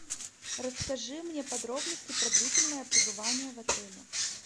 расскажи мне подробности про длительное пребывание в отеле